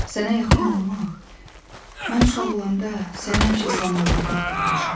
Sənə yaxın olmaq, mən uşaq olanda sənə həmişə samalarda axtarmışam.